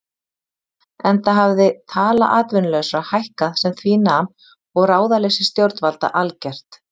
Enda hafði tala atvinnulausra hækkað sem því nam og ráðaleysi stjórnvalda algert.